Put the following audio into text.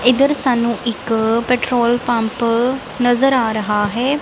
ਇੱਧਰ ਸਾਨੂੰ ਇੱਕ ਪੈਟ੍ਰੋਲ ਪੰਪ ਨਜ਼ਰ ਆ ਰਿਹਾ ਹੈ।